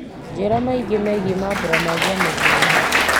njĩra maingĩ megiĩ mambura ma njamũhũri